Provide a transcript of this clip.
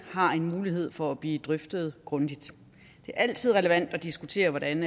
har en mulighed for at blive drøftet grundigt det er altid relevant at diskutere hvordan